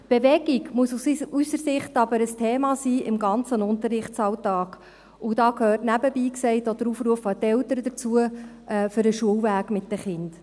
Bewegung muss aus unserer Sicht aber im ganzen Unterrichtsalltag ein Thema sein, und da gehört nebenbei gesagt auch der Aufruf an die Eltern dazu, für den Schulweg mit den Kindern.